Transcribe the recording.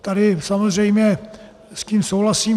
Tady samozřejmě s tím souhlasím.